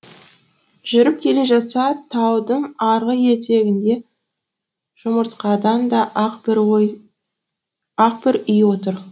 жүріп келе жатса таудың арғы етегінде жұмыртқадан да ақ бір үй отыр